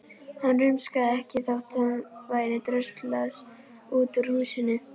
Hann rumskaði ekki þótt honum væri dröslað út úr húsinu.